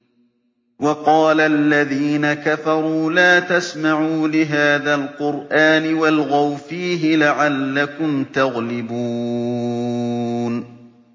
وَقَالَ الَّذِينَ كَفَرُوا لَا تَسْمَعُوا لِهَٰذَا الْقُرْآنِ وَالْغَوْا فِيهِ لَعَلَّكُمْ تَغْلِبُونَ